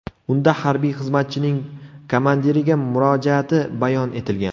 Unda harbiy xizmatchining komandiriga murojaati bayon etilgan.